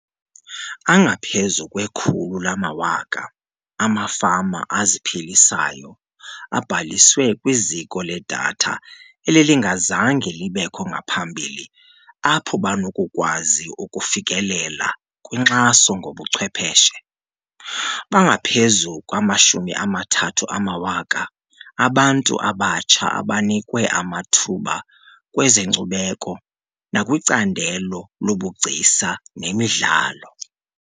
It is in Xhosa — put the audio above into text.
Angaphezu kwe-100 000 amafama aziphilisayo abhaliswe kwiziko ledatha elelingazange libekho ngaphambili apho banokukwazi ukufikelela kwinkxaso ngobuchwephetshe. Bangaphezu kwe-30 000 abantu abatsha abanikwe amathuba kwezenkcubeko nakwicandelo lobugcisa nemidlalo.